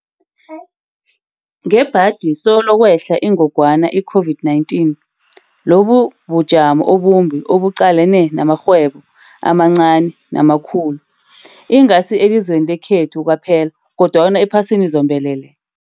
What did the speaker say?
Ngebhadi solo kwehla ingogwana i-COVID-19, lobu bujamo obumbi obuqalane namarhwebo amancani namakhulu, ingasi elizweni lekhethu kwaphela, kodwana ephasini zombelele.